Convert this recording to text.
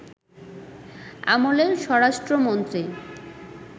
আমলের স্বরাষ্ট্রমন্ত্রী